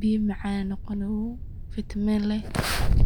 biya macan oo gawow ayay vitamin leh.